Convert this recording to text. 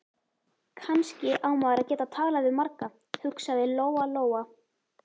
Kannski á maður að geta talað við marga, hugsaði Lóa-Lóa.